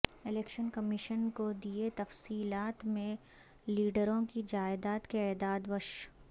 election commission کو دیئے تفصیلات میں لیڈروں کی جائیداد کے اعداد و ش